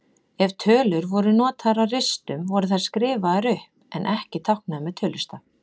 Ef tölur voru notaðar á ristum voru þær skrifaðar upp en ekki táknaðar með tölustaf.